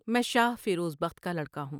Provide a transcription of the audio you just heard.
میں شاہ فیروز بخت کا لڑکا ہوں ۔